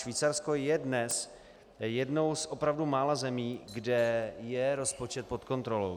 Švýcarsko je dnes jednou z opravdu mála zemí, kde je rozpočet pod kontrolou.